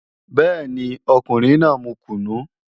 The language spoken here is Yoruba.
Bẹ́ẹ̀ni, ọkùnrin náà mu kùnú